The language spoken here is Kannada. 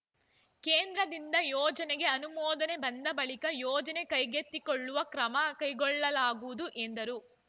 ಕೇಂದ್ರದಿಂದ ಯೋಜನೆಗೆ ಅನುಮೋದನೆ ಬಂದ ಬಳಿಕ ಯೋಜನೆ ಕೈಗೆತ್ತಿಕೊಳ್ಳಲು ಕ್ರಮ ಕೈಗೊಳ್ಳಲಾಗುವುದು ಎಂದರು